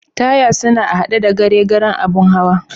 Taya suna a'hade da gare garen abun hawan.